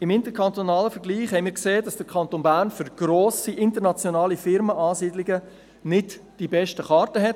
» Wir haben im interkantonalen Vergleich gesehen, dass der Kanton Bern für die Ansiedlung grosser internationaler Unternehmen nicht die besten Karten hat.